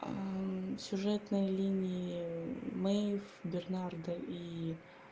аа сюжетные линии мэйв бернарда и